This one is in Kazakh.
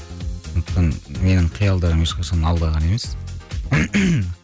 сондықтан менің қиялдарым ешқашан алдаған емес